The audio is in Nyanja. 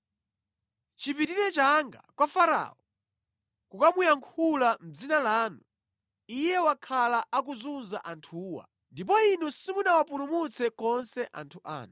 Chipitireni changa kwa Farao kukamuyankhula mʼdzina lanu, iye wakhala akuzunza anthuwa, ndipo inu simunawapulumutse konse anthu anu.”